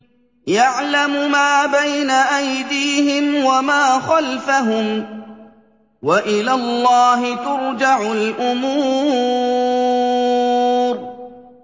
يَعْلَمُ مَا بَيْنَ أَيْدِيهِمْ وَمَا خَلْفَهُمْ ۗ وَإِلَى اللَّهِ تُرْجَعُ الْأُمُورُ